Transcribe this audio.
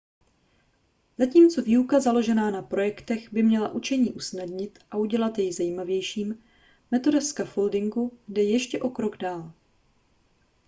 zatímco výuka založená na projektech by měla učení usnadnit a udělat jej zajímavějším metoda scaffolding jde ještě o krok dál